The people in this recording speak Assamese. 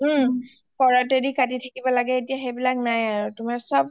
ওম হাতেদি কৰটে দি কাতি থাকিব লাগে সেইবিলাক নাই আৰু